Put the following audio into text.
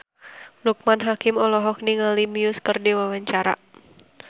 Loekman Hakim olohok ningali Muse keur diwawancara